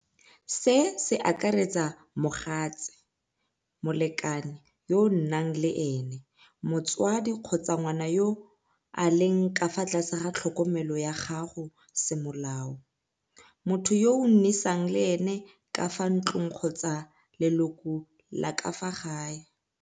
Se se akaretsa mogatse, molekane yo nnang le ene motswadi kgotsa ngwana yo a leng ka fa tlase ga tlhokomelo ya gago semolao, motho yo o nnisang le ene ka fa ntlong kgotsa leloko la ka fa gae.